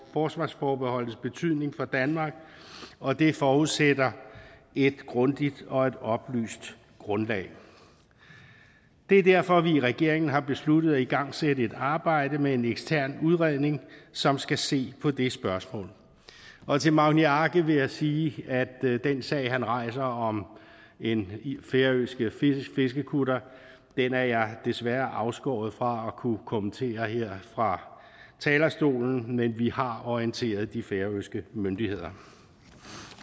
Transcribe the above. forsvarsforbeholdets betydning for danmark og det forudsætter et grundigt og et oplyst grundlag det er derfor at vi i regeringen har besluttet at igangsætte et arbejde med en ekstern udredning som skal se på det spørgsmål og til magni arge vil jeg sige at den sag han rejser om en færøsk fiskekutter er jeg desværre afskåret fra at kunne kommentere her fra talerstolen men vi har orienteret de færøske myndigheder